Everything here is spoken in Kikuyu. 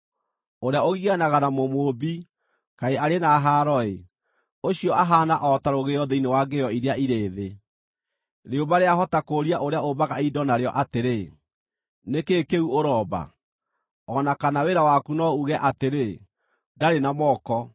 “Ũrĩa ũgianaga na Mũmũũmbi, kaĩ arĩ na haaro-ĩ! Ũcio ahaana o ta rũgĩo thĩinĩ wa ngĩĩo iria irĩ thĩ. Rĩũmba rĩahota kũũria ũrĩa ũmbaga indo narĩo atĩrĩ, ‘Nĩ kĩĩ kĩu ũromba?’ O na kana wĩra waku no uuge atĩrĩ, ‘Ndarĩ na moko’?